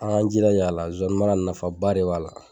An k'an jilaja a la. Zonzanni mara nafa ba de b'a la.